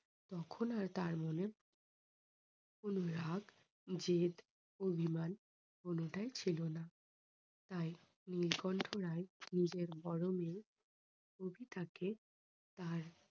তখন আর তার মনে অনুরাগ, জেদ, অভিমান কোনোটাই ছিল না। তাই নীলকণ্ঠ রায় নিজের বড়ো মেয়ে কবিতাকে তার